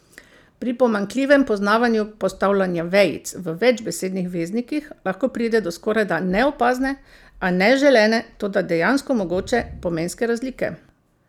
Pri pomanjkljivem poznavanju postavljanja vejic v večbesednih veznikih lahko pride do skorajda neopazne, a neželene, toda dejansko mogoče, pomenske razlike.